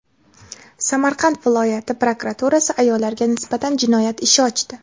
Samarqand viloyati prokuraturasi ayollarga nisbatan jinoyat ishi ochdi.